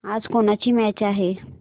आज कोणाची मॅच आहे